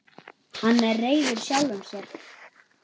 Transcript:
Hann er reiður sjálfum sér.